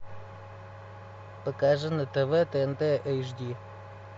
покажи на тв тнт эйч ди